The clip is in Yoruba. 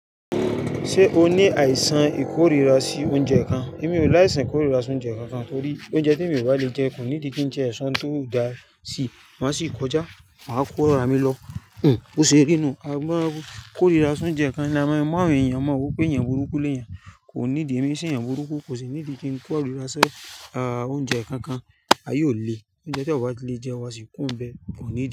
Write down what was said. Ṣé o ní àìsàn ìkórira sí oúnjẹ kan? Èmi ò láì san ìkórira sí oúnjẹ kankan torí oúnjẹ tí èmi ò bá le jẹ kò níìdí kí tiẹ̀ soun tio da sí. Màá sì kọjá, màá kóra mi lọ. Hn, bo ṣe rí nú. A máa ń kórira sí oúnjẹ kan ni a máa ń rí, èèyàn máa mọ pé èèyàn burúkú léyẹn. Kò ní ìdí, èmi ì sèyàn burúkú, kò sì ní ìdí kí n kórira sí a, oúnjẹ kankan. Ayé ò le, oúnjẹ tí ò bá le jẹ, wa sì kó ọ bẹ, kò nídí.